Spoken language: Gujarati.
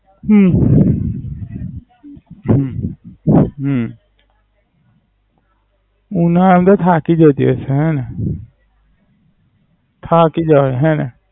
હમ હમ હમ ના, એમ તો થાકી જતી હશે ને? થાકી જવાય હેને?